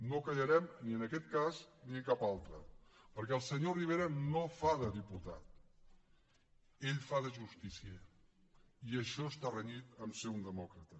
no callarem ni en aquest cas ni en cap altre perquè el senyor rivera no fa de diputat ell fa de justicier i això està renyit amb el fet de ser un demòcrata